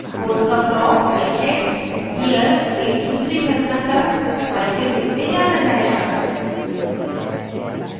code का block या text here के दूसरी घटना तक फाइल के रूप में जाना जायेगा